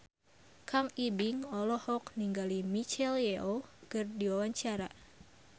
Kang Ibing olohok ningali Michelle Yeoh keur diwawancara